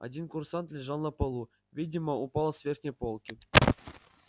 один курсант лежал на полу видимо упал с верхней полки